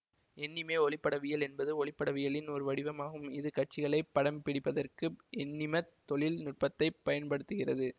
எண்ணிம ஒளிப்படவியல் என்பது ஒளிப்படவியலின் ஒரு வடிவம் ஆகும் இது காட்சிகளை படம் பிடிப்பதற்கு எண்ணிமத் தொழில் நுட்பத்தைப் பயன்படுத்துகிறது